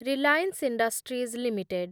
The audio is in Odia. Reliance Industries limited